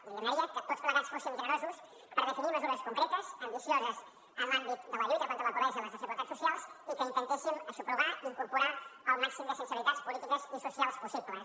i li demanaria que tots plegats fóssim generosos per definir mesures concretes ambicioses en l’àmbit de la lluita contra la pobresa i les desigualtats socials i que intentéssim aixoplugar i incorporar el màxim de sensibilitats polítiques i socials possibles